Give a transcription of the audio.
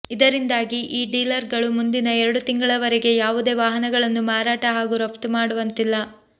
ಇದರಿಂದಾಗಿ ಈ ಡೀಲರ್ಗಳು ಮುಂದಿನ ಎರಡು ತಿಂಗಳವರೆಗೆ ಯಾವುದೇ ವಾಹನಗಳನ್ನು ಮಾರಾಟ ಹಾಗೂ ರಫ್ತು ಮಾಡುವಂತಿಲ್ಲ